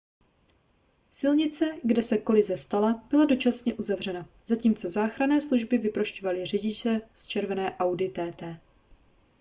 silnice kde se kolize stala byla dočasně uzavřena zatímco záchranné služby vyprošťovaly řidiče z červené audi tt